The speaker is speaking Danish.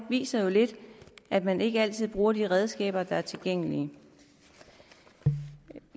viser jo lidt at man ikke altid bruger de redskaber der er tilgængelige